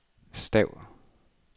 stav